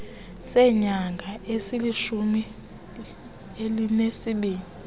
seenyanga ezilishumi elinesibini